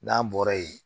N'an bɔra yen